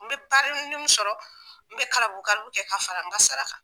N bɛ sɔrɔ n bɛ kalabukalabu kɛ ka fara n ka sara kan.